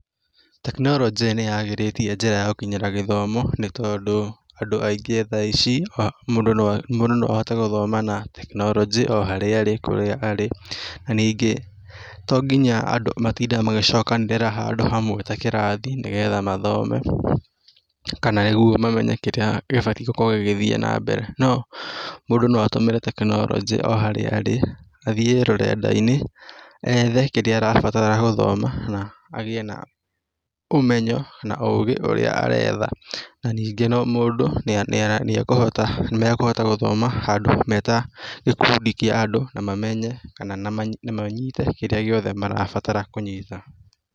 Tekinorojĩ nĩagĩrĩtie njĩra ya gũkinyĩra gĩthomo nĩtondũ, andũ aingĩ thaa ici mũndũ noahote gũthoma na tekinorojĩ oharĩa arĩ ningĩ tonginya andũ matinde magĩcokanĩrĩra handũ hamwe ta kĩrathi nĩgetha mathome kana mamenye kĩrĩa kĩbatie gĩkĩthiĩ na mbere no mũndũ no atũmĩre tekinorojĩ oharĩa arĩ athiĩ rũrendainĩ ethe kĩrĩa arabatara gũthoma na agĩe na ũmenyo ũgĩ ũrĩa aretha ningĩ mũndũ nĩekuhota gũthoma handũ metagĩkundi kĩa andũ mamenye kana manyite kĩrĩa gĩothe marabatara kũnyita